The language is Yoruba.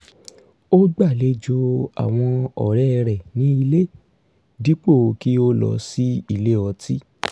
ó gbàlejò àwọn ọ̀rẹ́ rẹ̀ ní ilé dípò kí ó lọ sí ilé ọtí